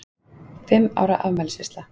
Fimm ára afmælisveisla.